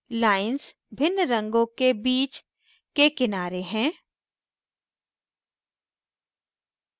lines भिन्न रंगों के बीच के किनारे हैं